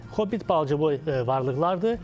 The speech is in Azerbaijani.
Hobbit balaca boy varlıqlardır.